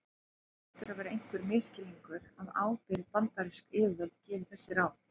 Það hlýtur að vera einhver misskilningur að ábyrg bandarísk yfirvöld gefi þessi ráð.